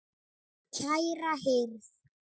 Steina var ein okkar.